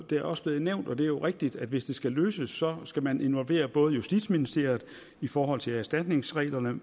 det er også blevet nævnt og det er jo rigtigt at hvis det skal løses så skal man involvere både justitsministeriet i forhold til erstatningsreglerne